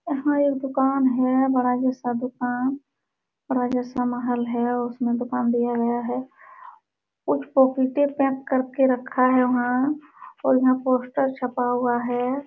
यहाँ एक दुकान है दुकान बड़ा जैसा महल है उसमे दुकान दिया गया है कुछ पपीते पैक कर के रखा है वहाँ और यहाँ पोस्टर छपा हुआ है।